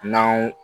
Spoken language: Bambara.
N'anw